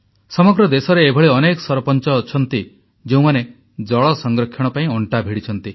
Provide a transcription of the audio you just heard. ସମଗ୍ର ଦେଶରେ ଏଭଳି ଅନେକ ସରପଞ୍ଚ ଅଛନ୍ତି ଯେଉଁମାନେ ଜଳ ସଂରକ୍ଷଣ ପାଇଁ ଅଣ୍ଟା ଭିଡ଼ିଛନ୍ତି